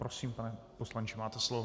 Prosím, pane poslanče, máte slovo.